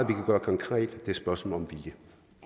kan gøre konkret det et spørgsmål om vilje